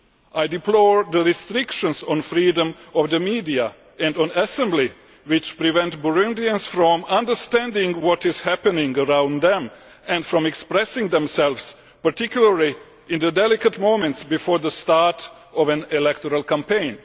I deplore the restrictions on freedom of the media and assembly which prevent Burundians from understanding what is happening around them and from expressing themselves, particularly in the delicate moments before the start of an electoral campaign.